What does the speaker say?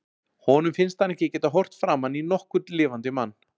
Honum finnst hann ekki geta horft framan í nokkurn lifandi mann.